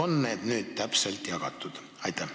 Kas need on nüüdseks täpselt jagatud?